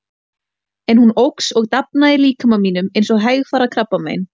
En hún óx og dafnaði í líkama mínum eins og hægfara krabbamein.